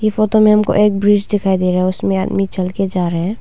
ये फोटो में हमको एक ब्रिज दिखाई दे रहा है उसमें आदमी चल के जा रहा है।